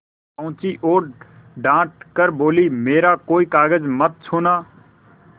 पहुँची और डॉँट कर बोलीमेरा कोई कागज मत छूना